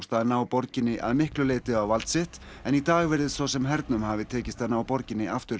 að ná borginni að miklu leyti á vald sitt en í dag virðist svo sem hernum hafi tekist að ná borginni aftur